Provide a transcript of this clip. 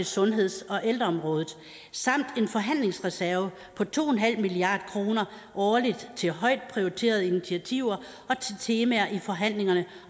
sundheds og ældreområdet samt en forhandlingsreserve på to milliard kroner årligt til højt prioriterede initiativer og til temaer i forhandlingerne